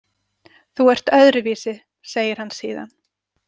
Þú ert öðruvísi, segir hann síðan.